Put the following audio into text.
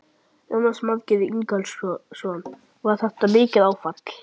Jónas Margeir Ingólfsson: Var þetta mikið áfall?